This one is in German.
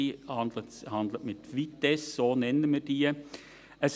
Sie handeln mit «Vitesse», wie wir das nennen.